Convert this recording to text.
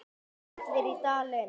Allir í Dalinn!